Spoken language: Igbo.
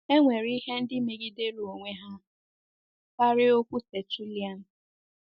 E nwere ihe ndị megidere onwe ha karịa okwu Tertullian.